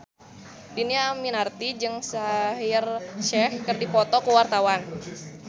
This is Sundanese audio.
Dhini Aminarti jeung Shaheer Sheikh keur dipoto ku wartawan